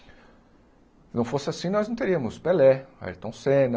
Não fosse assim, nós não teríamos Pelé, Ayrton Senna,